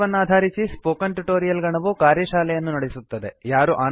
ಈ ಪಾಠವನ್ನಾಧಾರಿಸಿ spoken tutorial ಗಣವು ಕಾರ್ಯಶಾಲೆಯನ್ನು ನಡೆಸುತ್ತದೆ